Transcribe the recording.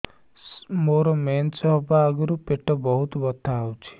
ମୋର ମେନ୍ସେସ ହବା ଆଗରୁ ପେଟ ବହୁତ ବଥା ହଉଚି